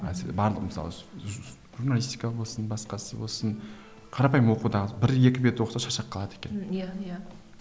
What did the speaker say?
журналистика болсын басқасы болсын қарапайым оқудағы бір екі бет оқыса шаршап қалады екен иә иә